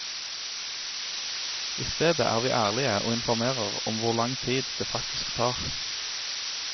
I stedet er vi ærlige og informerer om hvor lang tid det faktisk tar.